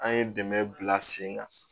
An ye dɛmɛ bila sen kan